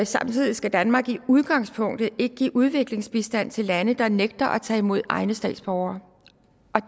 samtidig skal danmark i udgangspunktet ikke give udviklingsbistand til lande der nægter at tage imod deres egne statsborgere